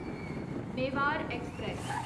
Mewar express